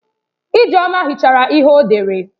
Ijeoma hichara ihe o dere.